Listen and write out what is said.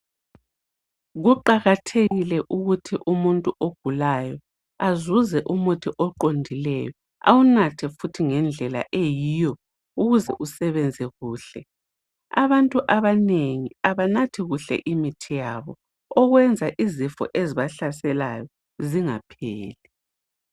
Kuqakathekile ukuthi umuntu ogulayo azuze umuthi oqondileyo. Awunathe futhi ngendlela eyiyo ukuze usebenze kuhle. Abantu abanengi abanathi kuhle imithi yabo. Okwenza izifo ezibahlaselayo zingapheli.